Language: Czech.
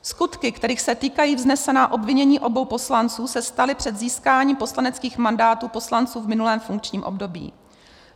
Skutky, kterých se týkají vznesená obvinění obou poslanců, se staly před získáním poslaneckých mandátů poslanců v minulém funkčním období.